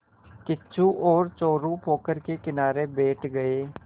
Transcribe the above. किच्चू और चोरु पोखर के किनारे बैठ गए